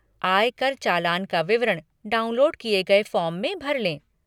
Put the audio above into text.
आयकर चालान का विवरण, डाउनलोड किए गये फ़ॉर्म में भर लें।